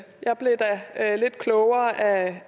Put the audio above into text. herre lidt klogere af